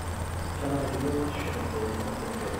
kenarikino neshum ilairemok empeku